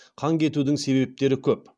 қан кетудің себептері көп